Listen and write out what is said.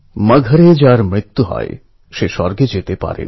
আকাশের গান আমার পৃথিবীকে শোনাতে হবে